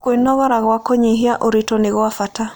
Kwĩogora gwa kũnyĩhĩa ũrĩtũ nĩ gwa bata